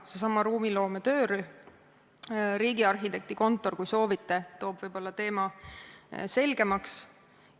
Seesama ruumiloome töörühm, riigiarhitekti kontor, kui soovite, teeb võib-olla teema selgemaks.